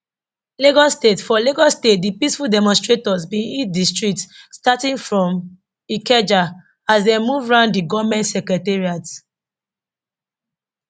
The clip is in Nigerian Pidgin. lagos state for lagos state di peaceful demonstrators bin hit di streets starting from ikeja as dem move round di govment secretariat